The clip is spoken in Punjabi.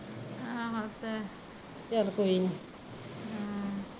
ਹਾਂ ਬਸ ਹਮ